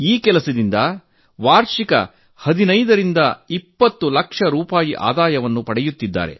ಅವರು ಇದರಿಂದ ವಾರ್ಷಿಕ 15 ರಿಂದ 20 ಲಕ್ಷ ರೂಪಾಯಿ ಆದಾಯ ಗಳಿಸುತ್ತಿದ್ದಾರೆ